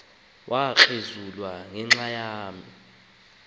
lo mntwana wabelekua